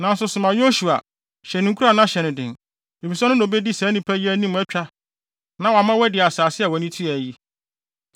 Nanso soma Yosua, hyɛ no nkuran na hyɛ no den, efisɛ ɔno na obedi saa nnipa yi anim atwa na wama wɔadi asase a wʼani tua yi.”